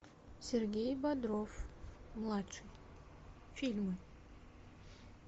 сергей бодров младший фильмы